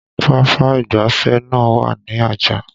Papa ìgbáfẹ́ náà wà ní Ajah